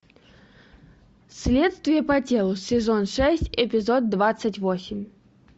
следствие по телу сезон шесть эпизод двадцать восемь